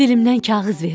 Dilimdən kağız verirəm.